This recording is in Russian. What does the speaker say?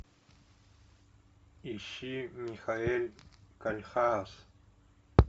ищи михаэль кольхаас